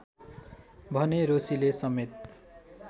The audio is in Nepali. भने रोशीले समेत